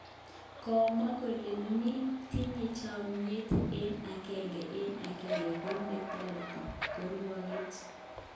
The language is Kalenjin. Kimwoe kele nin tinye chamet eng agenge eng agenge ko neyote kerwoget.